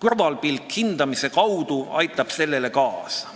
kõrvalpilk hindamise näol aitab sellele kaasa.